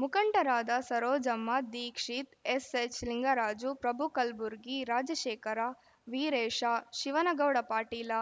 ಮುಖಂಡರಾದ ಸರೋಜಮ್ಮ ದೀಕ್ಷಿತ್‌ ಎಚ್‌ಎಸ್‌ಲಿಂಗರಾಜ ಪ್ರಭು ಕಲ್ಬುರ್ಗಿ ರಾಜಶೇಖರ ವೀರೇಶ ಶಿವನಗೌಡ ಪಾಟೀಲ